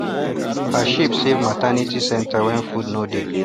her sheep save maternity centre when food no dey